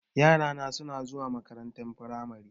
Yara na suna zuwa makarantar firamari.